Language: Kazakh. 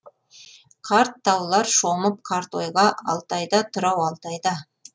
қарт таулар шомып қарт ойға алтайда тұр ау алтайда